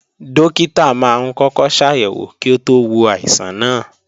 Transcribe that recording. Dókítà máa ń kọ́kọ́ ṣàyẹ̀wò kí ó tó wo àìsàn náà